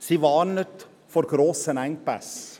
Sie warnt vor grossen Engpässen.